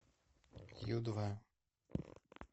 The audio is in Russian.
ю два